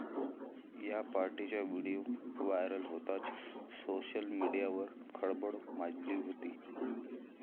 या पार्टीचा video viral होताच, सोशल मीडियावर खळबळ माजली होती.